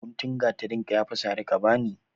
Guntun gatarin ka ya fi sari ka bani!